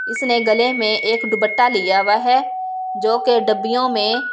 इसने गले में एक दुप्पट्टा लिया वह जोकि डब्बियो में काले।